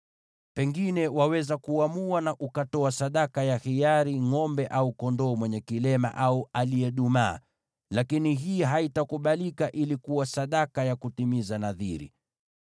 Lakini waweza ukatoa ngʼombe au kondoo mwenye kilema au aliyedumaa kama sadaka ya hiari, lakini hii haitakubalika kuwa sadaka ya kutimiza nadhiri.